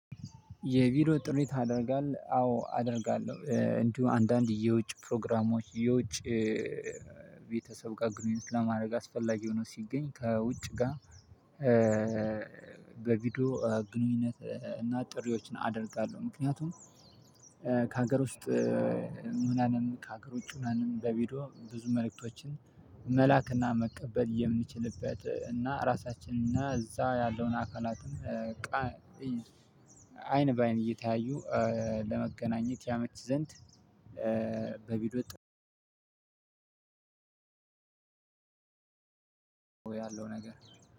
የቢሮ ጥሪ ታደርጋለህ? አዎ አደርጋለሁ እንዲሁ አንዳንድ የውጭ ፕሮግራሞች የውጭ ቤተሰብ ጋ ግኑኝነት አስፈላጊ ሁኖ ሲገኝ ከውጭጋ በቪዲዮ ግንኙነት እና ጥሪዎችን አደርጋለሁ። ምክንያቱም ከሀገር ውስጥ ሁነንም ከሀገር ውጪ ሁነንም በቪዲዮ ብዙ መልእክቶችን መላክና መቀበል የምንችልበት እና ራሳችን እና እዛ ያለውን አካላትም እቃ አይን በአይን እየተያዩ ለመገናኘት ያመች ዘንድ። በቢዶ ጥ ያለው ነገር